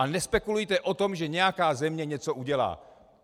A nespekulujte o tom, že nějaká země něco udělá.